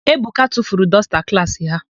Ebuka tufuru dọsta klaasị ha.